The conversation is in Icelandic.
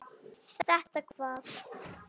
Þetta hvað?